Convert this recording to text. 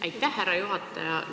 Aitäh, härra juhataja!